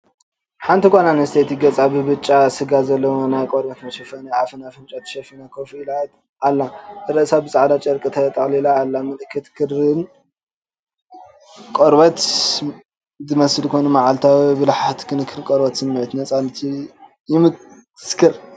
ሓንቲ ጓል ኣንስተይቲ ገጻ ብብጫ ስጋ ዘለዎ ናይ ቆርበት መሸፈኒ ኣፍን ኣፍንጫን ተሸፊና ኮፍ ኢላ ኣላ። ርእሳ ብጻዕዳ ጨርቂ ተጠቕሊላ ኣላ። ምልክት ክንክን ቆርበት ዝመስል ኮይኑ፡ መዓልታዊ ብልሓትን ክንክን ቆርበትን ስምዒት ነጻነትን ይምስክር፡፡